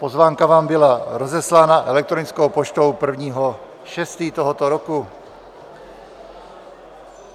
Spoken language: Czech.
Pozvánka vám byla rozeslána elektronickou poštou 1. 6. tohoto roku.